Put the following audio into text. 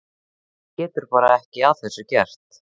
Hún getur bara ekki að þessu gert.